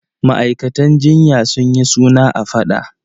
Ma'aikatan jinya sun yi suna a faɗa.